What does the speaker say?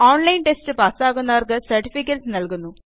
online test പാസാകുന്നവർക്ക് certificates നല്കുന്നു